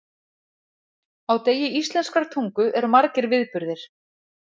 Á degi íslenskrar tungu eru margir viðburðir.